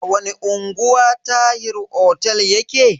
A wani unguwa Tahir otel yake?